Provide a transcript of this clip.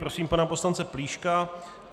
Prosím pana poslance Plíška.